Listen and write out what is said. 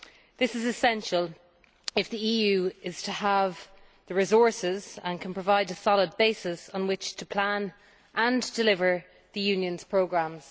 This is essential if the EU is to have the resources and to provide a solid basis on which to plan and deliver the Union's programmes.